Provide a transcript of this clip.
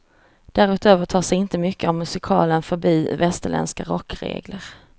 Därutöver tar sig inte mycket av musiken förbi västerländska rockregler.